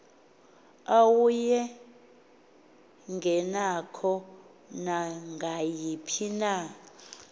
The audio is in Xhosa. awayengenako nangayiphi na